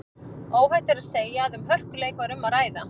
Óhætt er að segja að um hörkuleik var um að ræða.